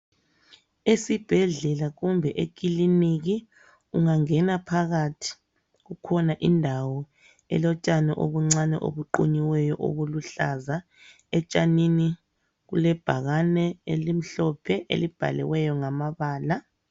Esibhedlela kumbe ekiliniki ungangena phakathi kukhona indawo elotshani obuncane obuqunyiweyo okuluhlaza etshanini kule bhakane elimhlophe elibhaliweyo ngama bala.